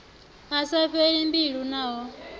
a sa fheli mbilu naho